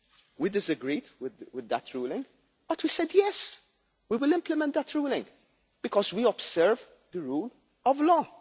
seats we disagreed with that ruling, but we said yes, we will implement that ruling, because we observe the rule of